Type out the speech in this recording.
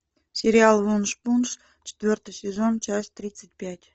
сериал вуншпунш четвертый сезон часть тридцать пять